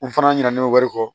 N fana ɲinɛ ne bɛ wari kɔ